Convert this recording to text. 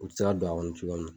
U ti se don a kɔnɔ cogo min